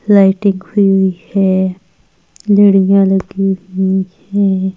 Lighting खुई हुई है लड़ियां लगी हुई हैं।